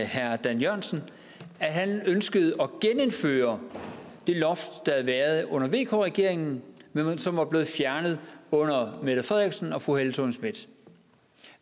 herre dan jørgensen at han ønskede at genindføre det loft der havde været under vk regeringen men som var blevet fjernet under mette frederiksen og fru helle thorning schmidt